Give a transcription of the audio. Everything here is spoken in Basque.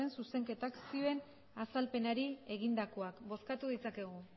zuzenketak zioen azalpenari egindakoak bozkatu ditzakegu